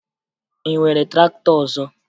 Ị nwere traktọ ọzọ?